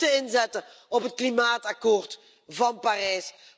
We moeten inzetten op het klimaatakkoord van Parijs.